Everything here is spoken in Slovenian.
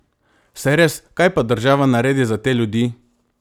Saj res, kaj pa država naredi za te ljudi?